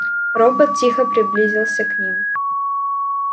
робот тихо приблизился к ним